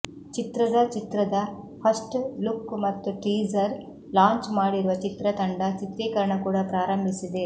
ಚಿತ್ರದ ಚಿತ್ರದ first look ಮತ್ತು ಟೀಸರ್ ಲಾಂಚ್ ಮಾಡಿರುವ ಚಿತ್ರತಂಡ ಚಿತ್ರೀಕರಣ ಕೂಡ ಪ್ರಾರಂಭಿಸಿದೆ